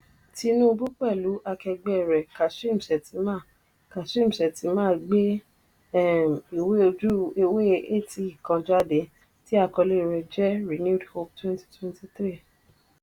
tinubu pẹ̀lú akẹgbẹ́ rẹ̀ kashim shettima kashim shettima gbé um ìwé ojú-ewé eighty kan jáde tí àkọlé rẹ̀ jẹ́ "renewed hope twenty twenty three ."